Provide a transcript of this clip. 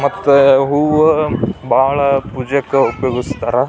ಮತ್ತೆ ಹೂವು ಭಾಳ ಪೂಜೆಗೆ ಉಪಯೋಗಿಸ್ತಾರೆ.